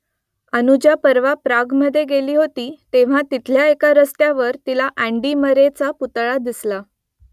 अनुजा परवा प्रागमध्ये गेली होती तेव्हा तिथल्या एका रस्त्यावर तिला अँडी मरेचा पुतळा दिसला